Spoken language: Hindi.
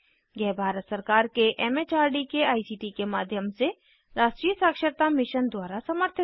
यह भारत सरकार के एम एच आर डी के आई सी टी के माध्यम से राष्ट्रीय साक्षरता मिशन द्वारा समर्थित है